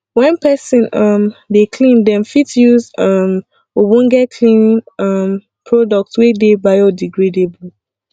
when person um dey clean dem fit use um ogbonge cleaning um product wey dey biodegradable